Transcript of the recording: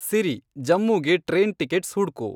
ಸಿರಿ ಜಮ್ಮೂಗೆ train tickets ಹುಡ್ಕು